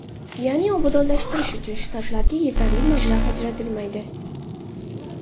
Ya’ni obodonlashtirish uchun shtatlarga yetarli mablag‘ ajratilmaydi.